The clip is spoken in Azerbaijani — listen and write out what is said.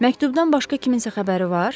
Məktubdan başqa kiminsə xəbəri var?